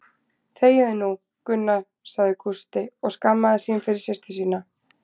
Þegiðu nú, Gunna sagði Gústi og skammaðist sín fyrir systur sína.